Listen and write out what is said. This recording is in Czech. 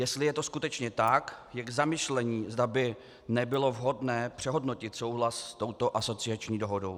Jestli je to skutečně tak, je k zamyšlení, zda by nebylo vhodné přehodnotit souhlas s touto asociační dohodou.